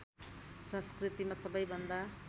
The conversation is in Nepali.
संस्कृतिमा सबैभन्दा